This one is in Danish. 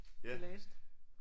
De læste